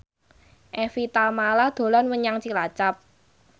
Evie Tamala dolan menyang Cilacap